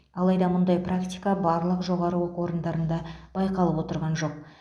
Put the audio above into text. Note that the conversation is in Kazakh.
алайда мұндай практика барлық жоғары оқу орындарында байқалып отырған жоқ